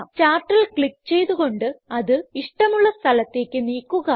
ചാർട്ടിൽ ക്ലിക്ക് ചെയ്ത് കൊണ്ട് അത് ഇഷ്ടമുള്ള സ്ഥലത്തേക്ക് നീക്കുക